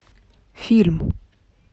фильм